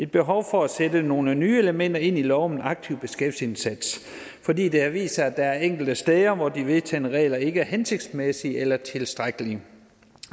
behovet for at sætte nogle nye elementer ind i loven om aktiv beskæftigelsesindsats fordi det har vist sig at der er enkelte steder hvor de vedtagne regler ikke er hensigtsmæssige eller tilstrækkelige